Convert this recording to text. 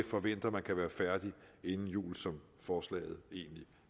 forventer at man kan være færdig inden jul som forslaget egentlig